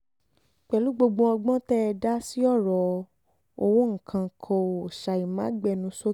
pẹ̀lú gbogbo ọgbọ́n tẹ́ ẹ dá sí ọ̀rọ̀ owó nǹkan kó ṣàì máa gbénú sókè